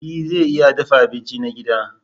E zan iya dafa abinci na gida.